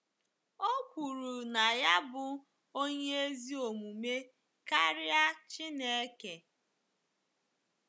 O kwuru na ya bụ onye ezi omume karịa Chineke.